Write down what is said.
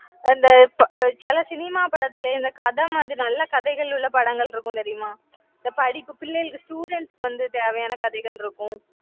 அந்த இப்ப சில cinema படத்துல இந்த கதை மாதிரி நல்ல கதைகள் உள்ள படங்கள் இருக்கும் தெரியுமா இந்த படிப்பு பிள்ளைகளுக்கு students வந்து தேவையான கதைகள் இருக்கும்.